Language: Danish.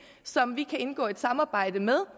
som de kan indgå et samarbejde med